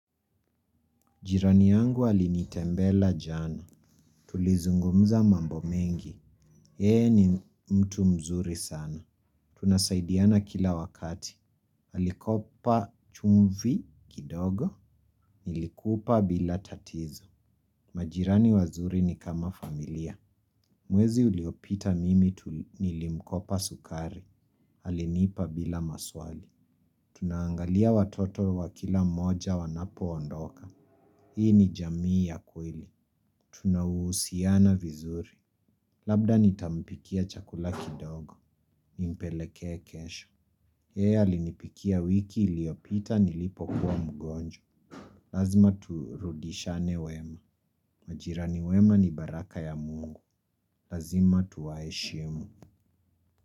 Jirani yangu alinitembela jana. Tulizungumza mambo mengi. Yeye ni mtu mzuri sana. Tunasaidiana kila wakati. Alikopa chumvi kidogo. Nilikupa bila tatizo. Majirani wazuri ni kama familia. Mwezi uliopita mimi nilimkopa sukari. Alinipa bila maswali. Tunangalia watoto wa kila mmoja wanapo ondoka. Hii ni jamii ya kweli. Tunausiana vizuri. Labda nitampikia chakula kidogo nimpelekea kesho yeye alinipikia wiki iliopita nilipo kuwa mgonwa. Lazima turudishane wema. Majirani wema ni baraka ya mungu. Lazima tuwaeshimu.